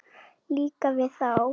Líka við þá.